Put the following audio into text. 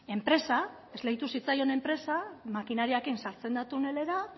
enpresa esleitu zitzaion enpresa makinariarekin sartzen da tunelera